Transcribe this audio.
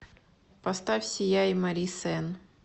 поставь сияй мари сенн